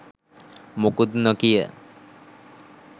මොකුත් නොකිය